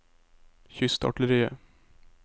kystartilleriet